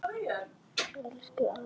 Elsku afi Mummi.